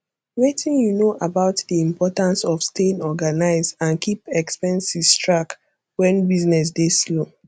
wetin you know about di importance of staying organized and keep expenses track when business dey slow